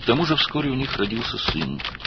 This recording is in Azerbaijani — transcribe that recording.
Üstəlik, tezliklə onların bir oğlu doğuldu.